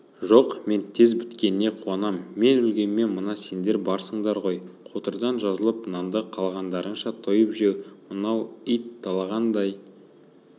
жоқ мен тез біткеніне қуанам мен өлгенмен мына сендер барсыңдар ғой қотырдан жазылып нанды қалағандарыңша тойып жеп мынау ит талағандай